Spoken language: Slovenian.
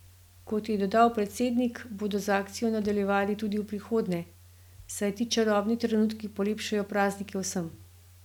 Kot je dodal predsednik, bodo z akcijo nadaljevali tudi v prihodnje, saj ti čarobni trenutki polepšajo praznike vsem.